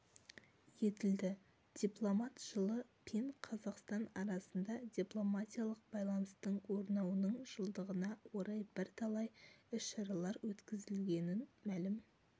етілді дипломат жылы пен қазақстан арасында дипломатиялық байланыстың орнауының жылдығына орай бірталай іс-шаралар өткізілгенін мәлім